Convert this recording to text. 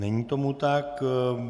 Není tomu tak.